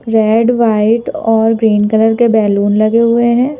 Red white और green colour के balloon लगे हुए हैं।